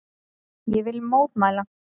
Ég vil mótmæla.